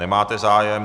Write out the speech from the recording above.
Nemáte zájem.